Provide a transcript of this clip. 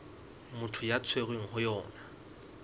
motho a tshwerweng ho yona